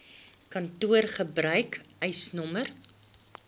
kantoor gebruik eisnr